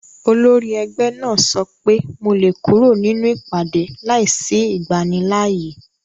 Olórí ẹgbẹ́ náà sọ pé mo lè kúrò nínú ìpàdé láìsí ìgbanilááyè